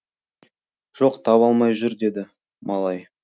жоқ таба алмай жүр деді малай